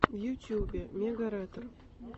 в ютубе мегаретр